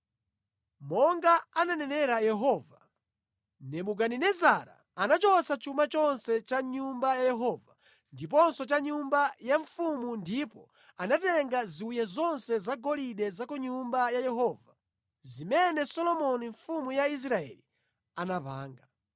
Monga ananenera Yehova, Nebukadinezara anachotsa chuma chonse cha mʼNyumba ya Yehova ndiponso cha mʼnyumba ya mfumu ndipo anatenga ziwiya zonse zagolide za ku Nyumba ya Yehova zimene Solomoni mfumu ya Israeli anapanga.